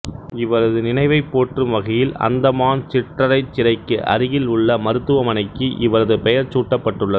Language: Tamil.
இவரது நினைவைப் போற்றும் வகையில் அந்தமான் சிற்றறைச் சிறைக்கு அருகில் உள்ள மருத்துவமனைக்கு இவரது பெயர் சூட்டப்பட்டுள்ளது